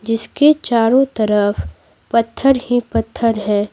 जिसके चारों तरफ पत्थर ही पत्थर है।